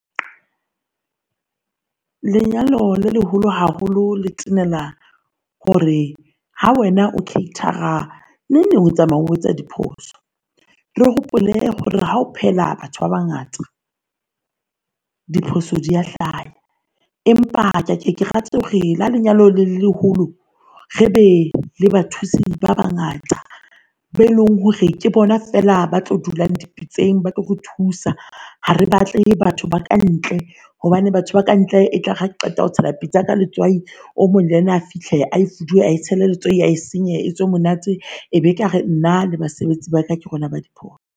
Lenyalo le leholo haholo letela hore ha wena o cater-a neng neng e tsamaya o etsa diphoso. Re hopole hore ha o phehela batho ba bangata diphoso di a hlaha, empa ha ke ke rate hore ha lenyalo le leholo re be le bathusi ba bangata ba leng hore ke bona fela ba tlo dulang di pitseng batlo re thusa. Ha re batle batho ba ka ntle hobane batho ba ka ntle e tlare ha qeta ho tshela pitsa yaka letswai o mong le yena a fihle ae foduwe ae tshele letswai a e senye wetswe monate. Ebe kare nna le basebetsi ba ka, ke rona ba diphoso.